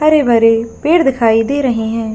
हरे-भरे पेड़ दिखाई दे रहे हैं।